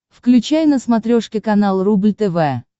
включай на смотрешке канал рубль тв